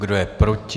Kdo je proti?